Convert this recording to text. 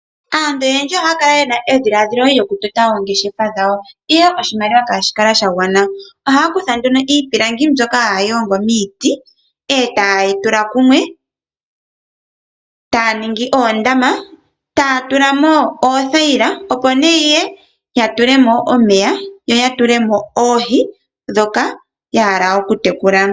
Aantu oyendji ohaya kala yena edhiladhilo lyoku tota oongeshefa dhawo ashike oshimaliwa ihayi kala ya gwana. Ohaya kutha nduno iipilangi mbyoka haya hongo miiti etaye yi tula kumwe etaya ningi oondama, taya tulamo oothaila opone yatulemo omeya oshowo oohi dhoka yahala oku tekula.